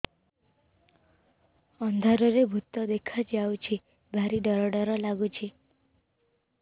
ଅନ୍ଧାରରେ ଭୂତ ଦେଖା ଯାଉଛି ଭାରି ଡର ଡର ଲଗୁଛି